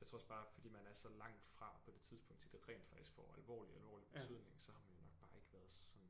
jeg tror også bare fordi man er så langt fra på det tidspunkt til det rent faktisk får alvorlig alvorlig betydning så har man jo nok bare ikke været sådan